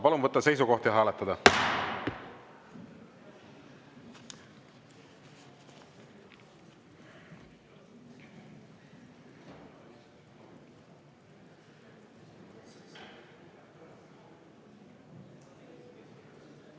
Palun võtta seisukoht ja hääletada!